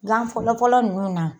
Gan fɔlɔfɔlɔ ninnu na